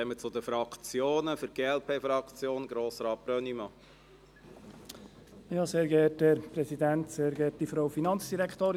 Ich erteile für die Fraktionen zuerst Grossrat Brönnimann von der glp das Wort.